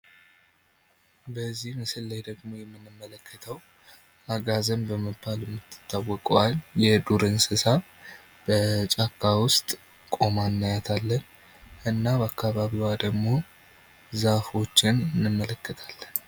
በዚህ ምስል ላይ ደግሞ የምንመለከተው አጋዘን በመባል የምትታወቀዋን የዱር እንስሳ በጫካ ውስጥ ቁማ እናያታለን ። እና በአካባቢዋ ደግሞ ዛፎችን እንመለከታለን ።